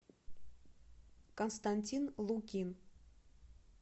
константин лукин